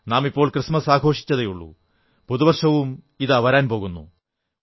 നാം ഇപ്പോൾ ക്രിസ്തുമസ് ആഘോഷിച്ചതേയുള്ളൂ പുതുവർഷം ഇതാ വരാൻ പോകുന്നു